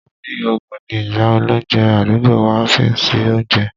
Wọ́n ni òògùn ni ìyá olóunjẹ àdúgbò wa ń fi sí oúnjẹ